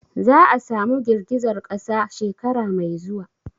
Za'a samu girgizar kasa shekara mai zuwa?